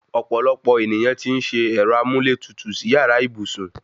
Ọ̀pọ̀lọpọ̀ èniyàn tí ń se ẹ̀rọ amúlétutù sí yàrá ìbùsùn